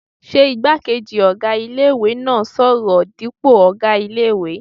Ṣé igbákejì ọ̀gá ilé-ìwé náà n sọ̀rọ̀ dípò ọ̀gá ilé-ìwé?